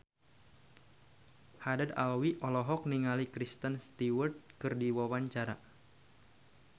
Haddad Alwi olohok ningali Kristen Stewart keur diwawancara